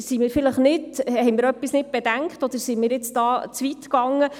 Sind wir da jetzt zu weit gegangen?